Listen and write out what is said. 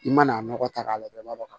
I mana nɔgɔ k'a la i b'a dɔn